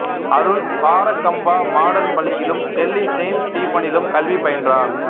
Arun Barakhamba modern பள்ளியிலும் Delhi saint ஸ்டீபனிலும் கல்வி பயின்றார்